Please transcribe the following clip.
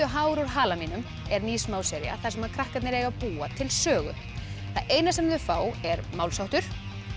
hár úr hala mínum er ný þar sem krakkarnir eiga að búa til sögu það eina sem þau fá er málsháttur